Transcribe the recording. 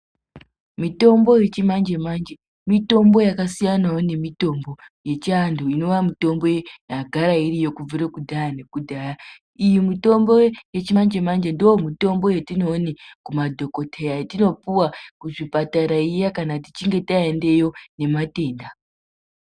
Mitombo yechimanje manje mitombo yakasiyanawo nemitombo yechianhu inowa mitombo yagara iriyo kubvira kudhaya nekudhaya. Iyi mitombo yechimanje manje ndiyo mitombo yetinoone kumadhokodheya yetinopuwa kuzvipatara zviya kana tichinge taendeyo nematenda.